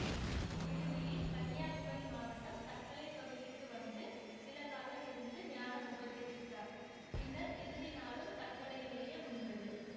இறுதியில் கன்னியாகுமரி மாவட்டம் தக்கலைப் பகுதிக்கு வந்து சிலகாலம் இருந்து ஞானம் உபதேசித்தார் பின்னர் இறுதி நாளும் தக்கலையிலேயே முடிந்தது